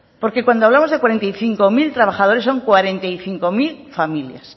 porque cuando hablamos de cuarenta y cinco mil trabajadores son cuarenta y cinco mil familias